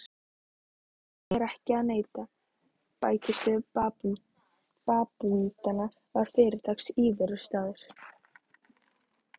Því er ekki að neita: bækistöð babúítanna var fyrirtaks íverustaður.